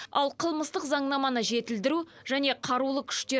ал қылмыстық заңнаманы жетілдіру және қарулы күштер